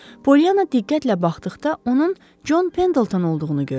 Polyana diqqətlə baxdıqda onun John Pendleton olduğunu gördü.